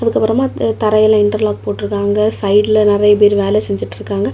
அதுக்கப்பறமா தரையில இன்டெர்லாக் போட்டுருக்காங்க சைடுல நெறைய பேர் வேல செஞ்சிட்டுருக்காங்க.